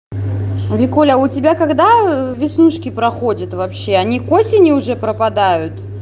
викуля а у тебя когда веснушки проходят вообще они к осени уже пропадают